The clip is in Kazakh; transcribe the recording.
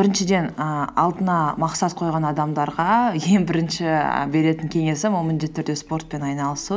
біріншіден ііі алдына мақсат қойған адамдарға ең бірінші беретін кеңесім ол міндетті түрде спортпен айналысу